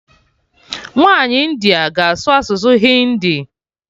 Nwaanyi India ga-asụ asụsụ Hindi